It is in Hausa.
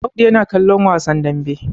Audu yana ƙallon wasan dambe